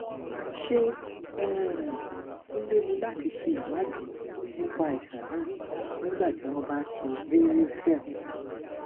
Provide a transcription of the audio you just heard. ṣé um ó léwu láti ṣe ìwádìí nípa àìsàn náà nígbà tí wọn bá ń ṣe varicocele